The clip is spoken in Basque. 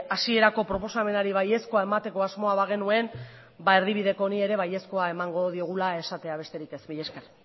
hasierako proposamenari baiezkoa emateko asmoa bagenuen ba erdibideko honi ere baiezkoa emango dugula esatea besterik ez mila esker